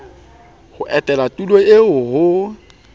ho etela tulo eo ho